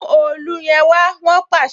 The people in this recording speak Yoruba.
Mu òòlù yẹn wá! Wọn pàṣẹ.